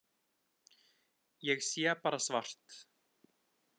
Ég sé bara svart.